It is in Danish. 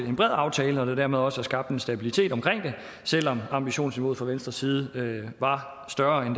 en bred aftale og at der dermed også er skabt en stabilitet omkring det selv om ambitionsniveauet fra venstres side var større end